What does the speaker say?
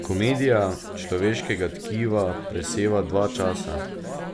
Komedija človeškega tkiva preseva dva časa,